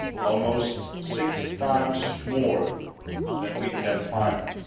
almost six times more than we can finance.